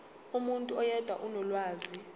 umuntu oyedwa onolwazi